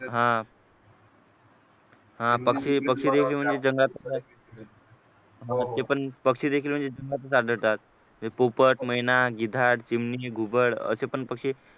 हा हा पक्षी पक्षी द्यायचे म्हणजे जंगलात ते पण पक्षी म्हणजे देखील जंगलातच आढळतात म्हणजे पोपट महिना गिधाड चिमणी घुबड असे पण पक्षी